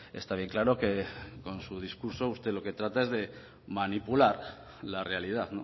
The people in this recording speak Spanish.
está bien claro que con su discurso usted lo que trata es de manipular la realidad